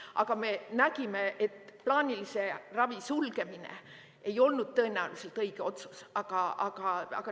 Aga me nägime, et plaanilise ravi sulgemine ei olnud tõenäoliselt õige otsus.